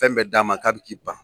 Fɛn bɛ d'a ma k'a bɛ k' ban.